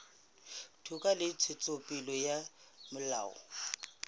toka le ntshetsopele ya molao